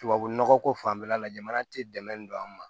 Tubabu nɔgɔ ko fanfɛla la jamana tɛ dɛmɛ don an ma